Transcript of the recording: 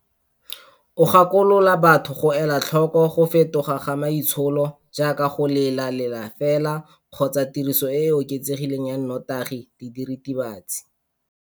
O gakolola batho go ela tlhoko go fetoga ga maitsholo, jaaka go lela lela fela kgotsa tiriso e e oketsegileng ya nnotagi le diritibatsi.